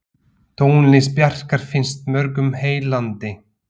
Tónlist Bjarkar finnst mörgum heillandi.